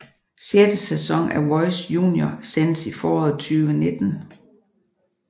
Sjette sæson af Voice Junior sendes i foråret 2019